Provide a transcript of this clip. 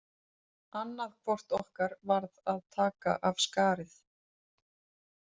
Annað hvort okkar varð að taka af skarið.